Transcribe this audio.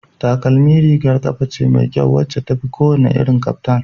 Takalmi rigar kafa ce mai kyau wacce tafi kowane irin kaftan